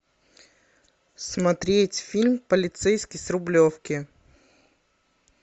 смотреть фильм полицейский с рублевки